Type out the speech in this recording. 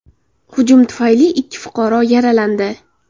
Hujum tufayli ikki fuqaro yaralandi.